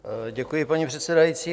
Děkuji, paní předsedající.